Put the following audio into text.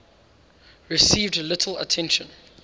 received little attention